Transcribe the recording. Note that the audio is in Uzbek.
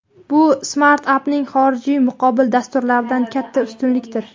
Bu Smartup’ning xorijiy muqobil dasturlardan katta ustunligidir.